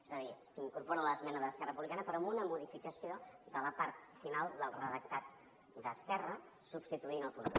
és a dir s’incorpora l’esmena d’esquerra republicana però amb una modificació de la part final del redactat d’esquerra substituint el punt dos